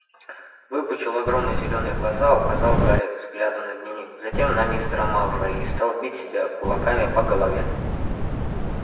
выпучил огромные зелёные глаза указал гарри взглядом на дневник затем на мистера малфоя и стал бить себя кулаками по голове